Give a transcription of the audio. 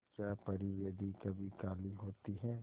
क्या परी यदि कभी काली होती है